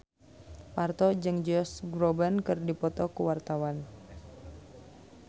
Parto jeung Josh Groban keur dipoto ku wartawan